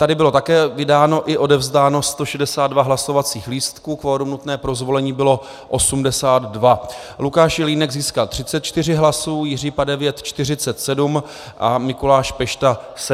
Tady bylo také vydáno i odevzdáno 162 hlasovacích lístků, kvorum nutné pro zvolení bylo 82. Lukáš Jelínek získal 34 hlasů, Jiří Padevět 47 a Mikuláš Pešta 17 hlasů.